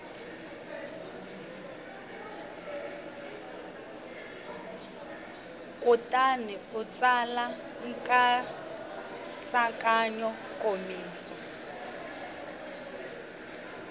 kutani u tsala nkatsakanyo nkomiso